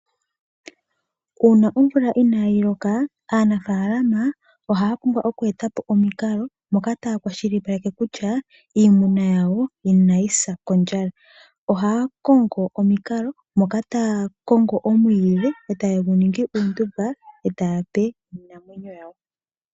Uuna omvula ina yi loka, aanafalama oha ya eta po omikalo ndhoka ta ya kwashilipaleke kutya iimuna ya wo ina yi sa kondjala. Oha ya kongo omikalo, moka ta ya kongo omwiidhi eta gu ningwa uundumba, eta ya pe iinamwenyo yawo.